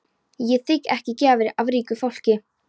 Ég þigg ekki gjafir af ríku fólki.